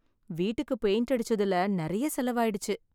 வீட்டுக்கு பெயிண்ட் அடிச்சதுல நிறைய செலவாயிடுச்சு.